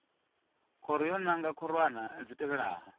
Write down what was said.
khoro yo nanga khorwana dzi tevhelaho